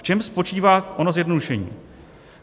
V čem spočívá ono zjednodušení?